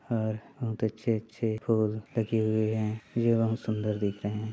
और अच्छे -अच्छे फूल लगे हुए है ये बहोत सुंदर दिख रहे है।